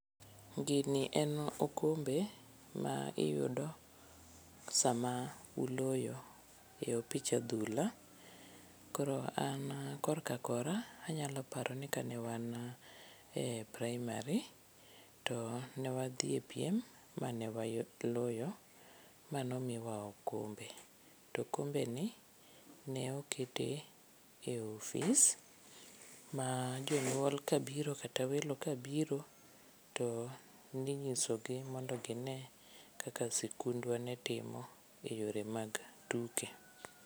Gini en okombe ma iyudo sama uloyo e opich adhula, koro an korka kora anyalo paro ni ka ne wan e praimari to ne wadhi e piem ma ne waloyo ma nomiwa okombe to okombeni ne okete ofis ma jonyuol kabiro kata welo kabiro to ninyisogi mondo gine kaka sikundwa ne timo e yore mag tuke.